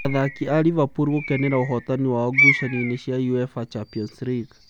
Athaki a Liverpool gũkenera ũhotani wao ngucanio-inĩ cia Uefa Champions league